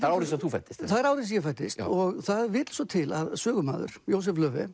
árið sem þú fæddist það er árið sem ég fæddist og það vill svo til að sögumaður Jósef